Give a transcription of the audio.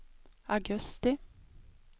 augusti